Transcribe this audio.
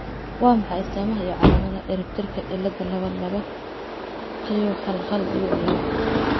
Waa maxay astamaha iyo calaamadaha cirib tirka cilada laba laba q hal hal dibic laba ?